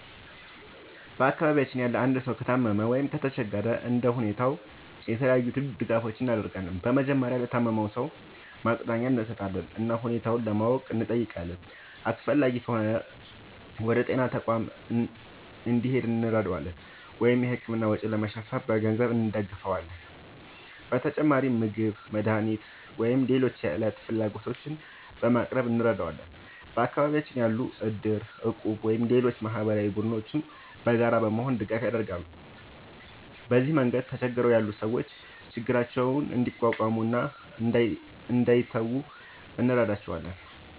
በአካባቢያችን ያለ አንድ ሰው ከታመመ ወይም ከተቸገረ እንደ ሁኔታው የተለያዩ ድጋፎችን እናደርጋለን። በመጀመሪያ ለታመመው ሰው ማጽናኛ እንሰጣለን እና ሁኔታውን ለማወቅ እንጠይቃለን። አስፈላጊ ከሆነ ወደ ጤና ተቋም እንዲሄድ እንረዳዋለን ወይም የሕክምና ወጪ ለመሸፈን በገንዘብ እንደግፋለን። በተጨማሪም ምግብ፣ መድኃኒት ወይም ሌሎች የዕለት ፍላጎቶችን በማቅረብ እንረዳዋለን። በአካባቢያችን ያሉ እድር፣ እቁብ ወይም ሌሎች ማህበራዊ ቡድኖችም በጋራ በመሆን ድጋፍ ያደርጋሉ። በዚህ መንገድ ተቸግረው ያሉ ሰዎች ችግራቸውን እንዲቋቋሙ እና እንዳይተዉ እንረዳቸዋለን።